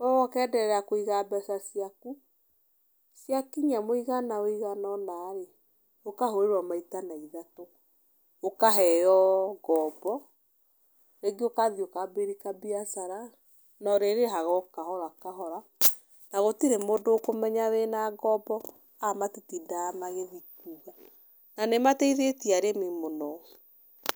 We ũkenderea kũiga mbeca ciaku, ciakinya mũigana ũigana ũna rĩ, ũkahũrĩrwo maita na ithatũ, ũkaheo ngombo, rĩngĩ ũgathiĩ ukambĩrĩri kambiacara na ũrĩrĩhaga o kahora kahora, na gũtirĩ mũndũ ũkũmenya wĩna ngombo, aya matitindaga magĩthi kuuga. Na nĩ mateithĩtie arĩmi mũno.